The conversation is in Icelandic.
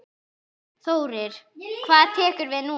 Þórir: Hvað tekur við núna?